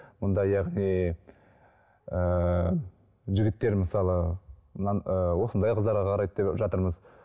бұнда яғни ыыы жігіттер мысалы ыыы осындай қыздарға қарайды деп жатырмыз